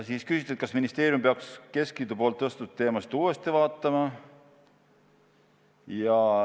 Siis küsiti, kas ka ministeerium peaks keskliidu tõstatatud teemasid uuesti analüüsima.